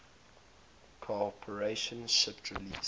corporation shipped release